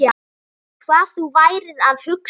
Hvað þú værir að hugsa.